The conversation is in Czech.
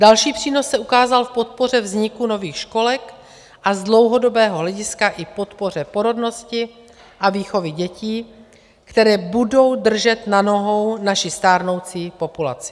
Další přínos se ukázal v podpoře vzniku nových školek a z dlouhodobého hlediska i podpoře porodnosti a výchovy dětí, které budou držet na nohou naši stárnoucí populaci.